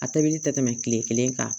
A tobili tɛ tɛmɛ kile kelen kan